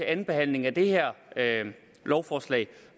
andenbehandlingen af det her lovforslag